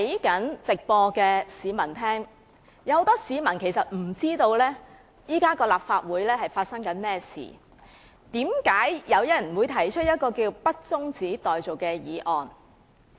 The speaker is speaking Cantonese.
很多市民不明白立法會正在發生甚麼事，不理解為何有議員提出這項不中止待續的議案。